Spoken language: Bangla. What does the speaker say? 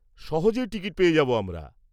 -সহজেই টিকিট পেয়ে যাব আমরা।